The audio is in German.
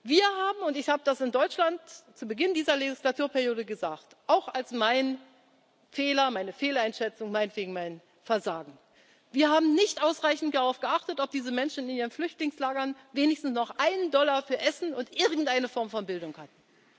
Wir haben und ich habe das in Deutschland zu Beginn dieser Legislaturperiode gesagt, auch als meinen Fehler, meine Fehleinschätzung, meinetwegen mein Versagen nicht ausreichend darauf geachtet, ob diese Menschen in ihren Flüchtlingslagern wenigstens noch einen Dollar für Essen und irgendeine Form von Bildung